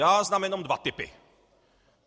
Já znám jenom dva typy.